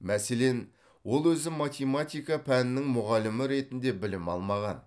мәселен ол өзі математика пәнінің мұғалімі ретінде білім алмаған